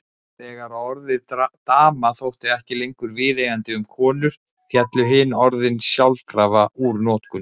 Þegar orðið dama þótti ekki lengur viðeigandi um konur féllu hin orðin sjálfkrafa úr notkun.